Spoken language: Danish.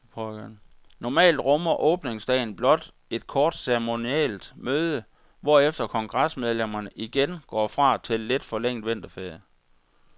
Normalt rummer åbningsdagen blot et kort ceremonielt møde, hvorefter kongresmedlemmerne igen går fra til lidt forlænget vinterferie.